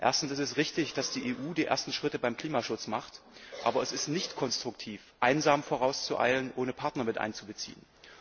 Erstens ist es richtig, dass die EU die ersten Schritte beim Klimaschutz macht, aber es ist nicht konstruktiv, einsam vorauszueilen, ohne Partner mit einzubeziehen.